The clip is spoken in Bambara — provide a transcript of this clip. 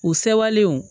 U sewalenw